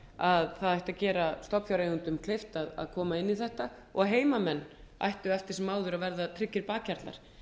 að gera ætti stofnfjáreigendum kleift að koma inn í þetta og heimamenn ættu eftir sem áður að verða tryggir bakhjarlar en